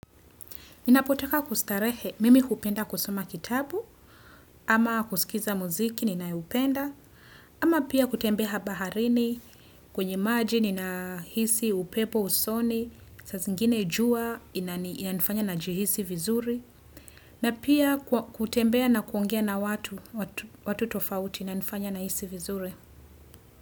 Ninapotaka kustarehe mimi kupenda kusoma kitabu, ama kusikiza muziki ninayoupenda, ama pia kutembea baharini kwenye maji ni nahisi upepo usoni, sa zingine jua ina nifanya na jihisi vizuri, na pia kwa kutembea na kuongea na watu, watu tofauti na inanifanya nahisi vizuri.